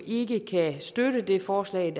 ikke kan støtte det forslag